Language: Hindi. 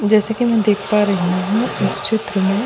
जैसे कि मैं देख पा रही हूँ इस चित्र में --